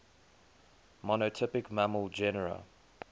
monotypic mammal genera